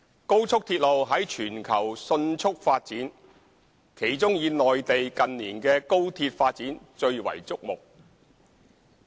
高速鐵路在全球迅速發展，其中以內地近年的高鐵發展最為矚目。